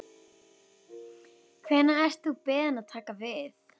Hvenær ert þú beðinn að taka við?